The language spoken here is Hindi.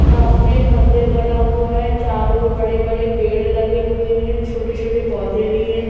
सामने मंदिर बना हुवा हैं चारों ओर बड़े बड़े पेड़ लगे हुए हैं छोटे छोटे पौधे भीं हैं।